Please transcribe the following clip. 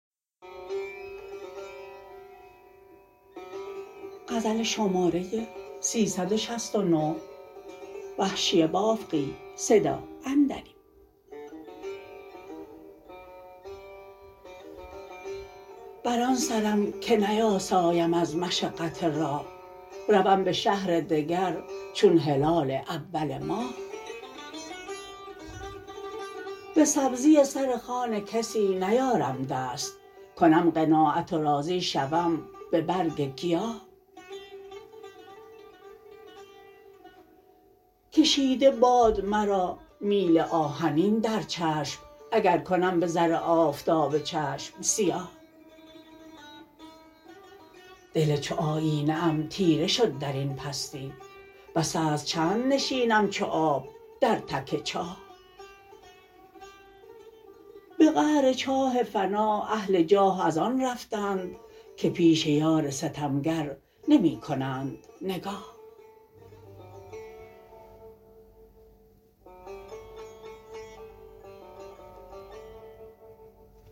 بر آن سرم که نیاسایم از مشقت راه روم به شهر دگر چون هلال اول ماه به سبزی سر خوان کسی نیارم دست کنم قناعت و راضی شوم به برگ گیاه کشیده باد مرا میل آهنین در چشم اگر کنم به زر آفتاب چشم سیاه دل چو آینه ام تیره شد در این پستی بس است چند نشینم چو آب در تک چاه به قعر چاه فنا اهل جاه از آن رفتند که پیش یار ستمگر نمی کنند نگاه